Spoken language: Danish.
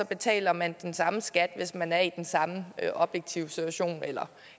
betaler man den samme skat hvis man er i den samme objektive situation eller